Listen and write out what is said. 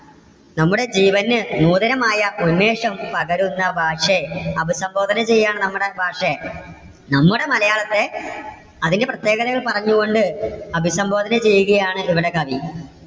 നമ്മുടെ ജീവന് നൂതനമായ ഉന്മേഷം പകരുന്ന ഭാഷേ. അഭിസംബോധന ചെയ്യുകയാണ് നമ്മുടെ ഭാഷയെ. നമ്മുടെ മലയാളത്തെ അതിന്റെ പ്രത്യേകതകൾ പറഞ്ഞുകൊണ്ട് അഭിസംബോധന ചെയ്യുകയാണ് ഇവിടെ കവി.